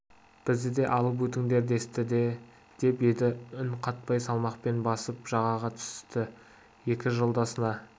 бізді де алып өтіңдер десті деп еді үн қатпай салмақпен басып жағаға түсті екі жолдасына